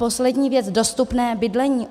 Poslední věc - dostupné bydlení.